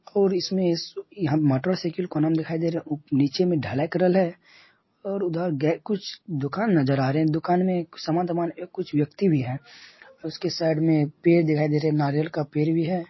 और इसमे यहां पे मोटरसाइकिल कोने में दिखाई दे रहे हैं। उप नीचे मे ढलाई करल है और उधर गे कुछ दुकान नजर आ रहे हैं। दुकान में एक समान-तमान एक कुछ व्यक्ति भी है। और उसके साइड मे पेड़ दिखाई दे रहे हैं नारियल का पेड़ भी है।